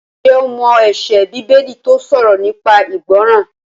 Ǹjẹ́ o mọ ẹsẹ Bíbélì tó sọ̀rọ̀ nípa ìgbọràn?